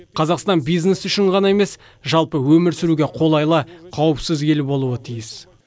қазақстан бизнес үшін ғана емес жалпы өмір сүруге қолайлы қауіпсіз ел болуы тиіс